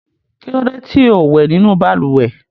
Kí ló dé tí ò wẹ̀ nínú balùwẹ̀?